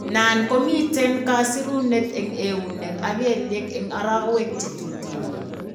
Nan komiten kasirunet en eunek ak kelyek en arawek chetuten